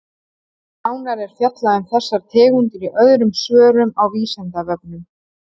Nánar er fjallað um þessar tegundir í öðrum svörum á Vísindavefnum.